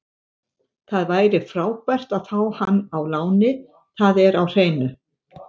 Það væri frábært að fá hann á láni, það er á hreinu.